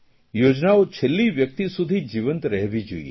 યોજનાઓ છેલ્લી વ્યકિત સુધી જીવંત રહેવી જોઇએ